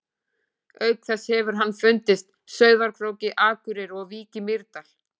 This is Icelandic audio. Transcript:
Auk þess hefur hann fundist Sauðárkróki, Akureyri og í Vík í Mýrdal.